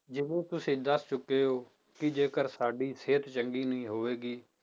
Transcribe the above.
ਜਿਵੇਂ ਤੁਸੀਂ ਦੱਸ ਚੁੱਕੇ ਹੋ ਕਿ ਜੇਕਰ ਸਾਡੀ ਸਿਹਤ ਚੰਗੀ ਨਹੀਂ ਹੋਵੇਗੀ